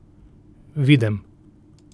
Videm.